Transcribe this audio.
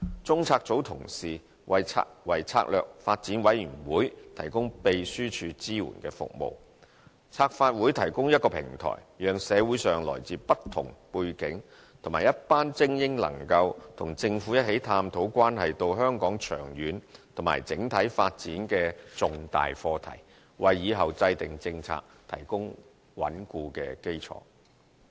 中策組同事為策略發展委員會提供秘書處支援服務。策發會提供平台讓社會上來自不同背景的一群精英，能夠與政府一起探討關係香港長遠及整體發展的重大課題，為以後制訂政策提供穩固基礎。